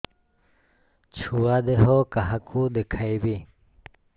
ଛୁଆ ଦେହ କାହାକୁ ଦେଖେଇବି